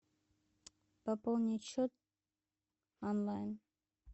пополнить счет онлайн